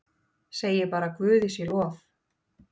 Segi bara guði sé lof.